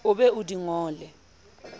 o be o di ngole